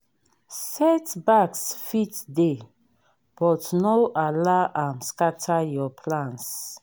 setbacks fit dey but no allow am scatter your plans